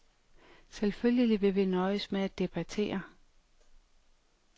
Selvfølgelig skal vi nøjes med at debattere.